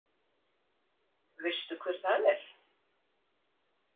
Veistu hver það er?